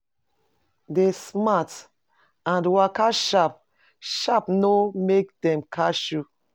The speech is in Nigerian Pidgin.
Dey smart and waka sharp sharp no make dem catch you